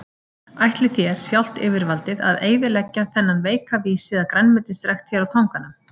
Ætlið þér, sjálft yfirvaldið, að eyðileggja þennan veika vísi að grænmetisrækt hér á Tanganum?